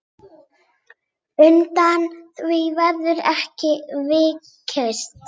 Undan því verður ekki vikist.